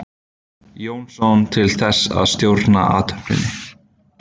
Jónsson til þess að stjórna athöfninni.